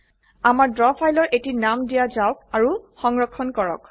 আমাৰ ড্ৰ ফাইলৰ এটি নাম দিয়া যাওক আৰু সংৰক্ষণ কৰক